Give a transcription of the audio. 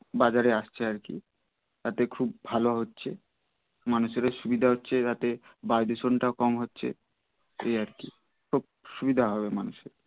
বাজারে আসছে আর কি তাতে খুব ভালো হচ্ছে মানুষের ও সুবিধা হচ্ছে তাতে বায়ু দূষণ টাও কম হচ্ছে এই আর কি খুব সুবিধা হবে মানুষের